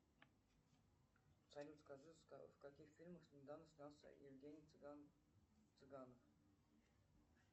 салют скажи в каких фильмах недавно снялся евгений цыганов